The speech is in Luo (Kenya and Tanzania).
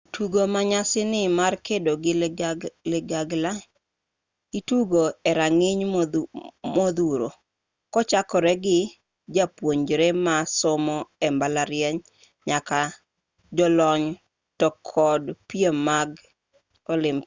tugo manyasani mar kedo gi ligangla itugo e rang'iny modhuro kochakore gi japuonjre ma somo e mbalariany nyaka jolony to kod piem mag olimpik